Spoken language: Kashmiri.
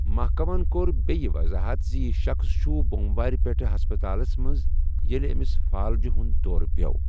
محکمَن کوٚر بیٚیہِ وضاحت زِ یہِ شخٕص چھُ بۄموارِ پٮ۪ٹھ ہسپتالَس منٛز ییٚلہِ أمِس فالجہِ ہُنٛد دورٕ پِٮ۪وٚو۔